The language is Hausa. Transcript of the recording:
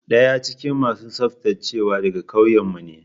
Daya cikin masu tsaftacewa daga kauyenmu ne.